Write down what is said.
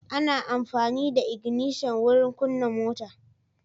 Ana amfani da ignishan wurin kunna mota.